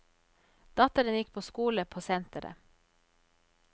Datteren gikk på skole på senteret.